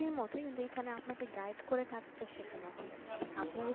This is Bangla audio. চাকরির মতই কিন্তু এখানে আপনাকে guide করে কাজটা শেখানো হবে